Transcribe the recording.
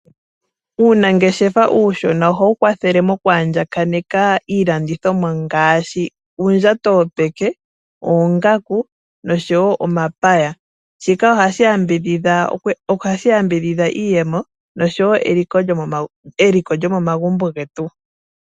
Uunangeshefa uushona ohawu kwathele moku andjaganeka iilandithomwa ngaashi, uundjato wopeke, oongaku, noshowo omapaya. Shika ohashi yambidhidha iiyemo, noshowo eliko lyomomagumbo getu.